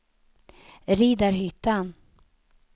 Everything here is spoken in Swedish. Riddarhyttan